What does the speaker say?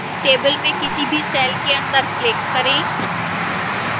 table में किसी भी cell के अंदर click करें